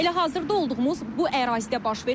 Elə hazırda olduğumuz bu ərazidə baş verib.